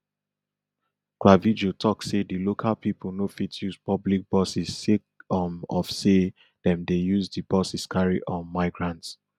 clavijo tok say di local pipo no fit use public buses sake um of say dem dey use di buses carry um migrants